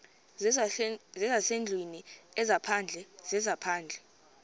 zezasendlwini ezaphandle zezaphandle